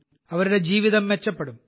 അവരുടെ ജീവിതം മെച്ചപ്പെടും